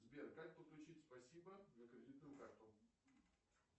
сбер как подключить спасибо на кредитную карту